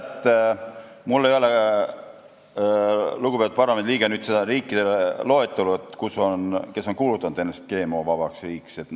Teate, mul ei ole, lugupeetud parlamendiliige, nende riikide loetelu, kes on kuulutanud ennast GMO-vabaks.